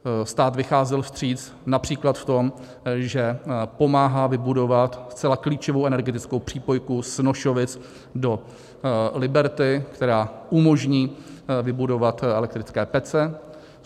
Stát vycházel vstříc například v tom, že pomáhá vybudovat zcela klíčovou energetickou přípojku z Nošovic do Liberty, která umožní vybudovat elektrické pece.